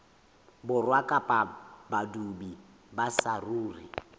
borwa kapa badudi ba saruri